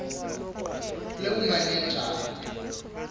lobumanenjara